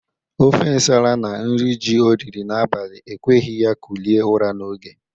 Ofe nsala na nri ji o riri n'abali ekweghi ya kulie ụra n'oge.